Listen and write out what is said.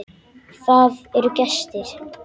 Það eru gestir.